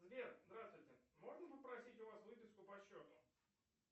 сбер здравствуйте можно попросить у вас выписку по счету